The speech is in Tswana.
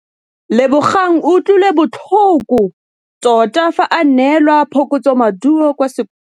Lebogang o utlwile botlhoko tota fa a neelwa phokotsômaduô kwa sekolong.